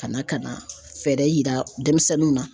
Ka na ka na fɛɛrɛ yira denmisɛnninw na.